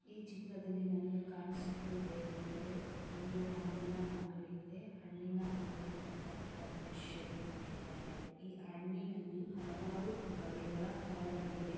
ಈ ಚಿತ್ರದಲ್ಲಿ ನನಗೆ ಕಾಣಿಸುತರುವ ಕಾಣಿಸುತ್ತಿರುವುದು ಏನೆಂದರೆ ಒಂದು ಹಣ್ಣಿನ ಅಂಗಡಿ ಪಕ್ಕದಲ್ಲಿ ಒಬ್ಬ ಮನುಷ್ಯನೇ ನಿಂತಿದ್ದಾರೆ ಈ ಹಣ್ಣಿನಲ್ಲಿ ಹಲವಾರು ಬಗ್ಗೆಯ ಫಲಗಳಿವೆ .